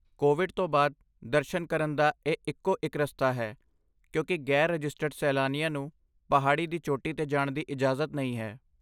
Covid ਤੋਂ ਬਾਅਦ, ਦਰਸ਼ਨ ਕਰਨ ਦਾ ਇਹ ਇਕੋ ਇਕ ਰਸਤਾ ਹੈ, ਕਿਉਂਕਿ ਗ਼ੈਰ ਰਜਿਸਟਰਡ ਸੈਲਾਨੀਆਂ ਨੂੰ ਪਹਾੜੀ ਦੀ ਚੋਟੀ 'ਤੇ ਜਾਣ ਦੀ ਇਜਾਜ਼ਤ ਨਹੀਂ ਹੈ